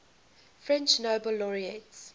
french nobel laureates